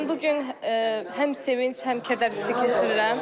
Mən bu gün həm sevinc, həm kədər hiss edirəm.